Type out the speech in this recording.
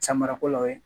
Samara ko la o ye